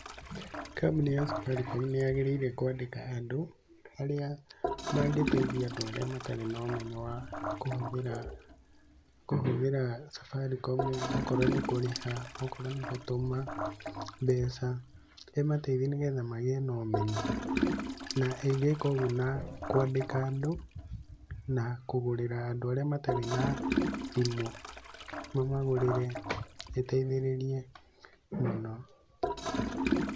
Kambũni ya Safaricom nĩ yagĩrĩire kũandĩka andũ, arĩa, mangĩteithia andũ arĩa matarĩ na ũmenyo wa kũhũthĩra, kũhũthĩra Safaricom okorũo nĩ kũrĩha, okorũo nĩ gũtũma mbeca, ĩmateithie nĩ getha magĩe na ũmenyo. Na ĩngĩka ũguo na, kũandĩka andũ, na kũgũrĩra andũ arĩa matarĩ na thimũ. Mamagũrĩre, ĩteithĩrĩrie mũno.